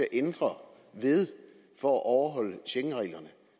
ændre ved for at overholde schengenreglerne